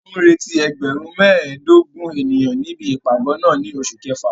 A ń retí ẹgbẹ̀rún mẹ́ẹ̀ẹ́dógún ènìyàn níbi ìpàgọ́ náà ní oṣù kẹfà.